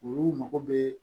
Olu mago bɛ